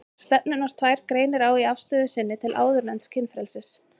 Stefnurnar tvær greinir á í afstöðu sinni til áðurnefnds kynfrelsis.